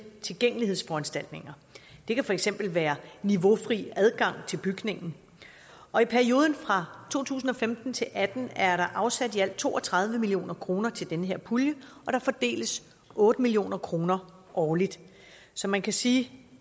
tilgængelighedsforanstaltninger det kan for eksempel være niveaufri adgang til bygningen og i perioden fra to tusind og femten til atten er der afsat i alt to og tredive million kroner til den her pulje og der fordeles otte million kroner årligt så man kan sige at